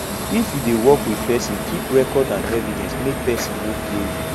if you dey work with person keep record and evidence make person no play you